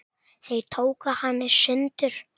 Þeir tóku hana í sundur.